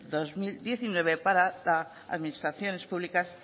dos mil diecinueve para las administraciones públicas